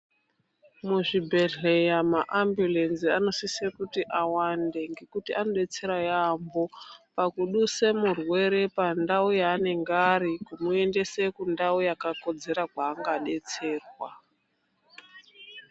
Muzvibhedhlera maambulenzi anosise kuti awande ngekuti anodetsera yaambo pakuduse murwere pandau yaanenge ari kumuendese kundau yakakodzera yaangadetserwa .